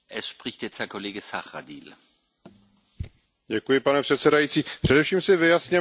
Pane předsedající, především si vyjasněme, že tady při tom hlasování nešlo o žádný hon na čarodějnice.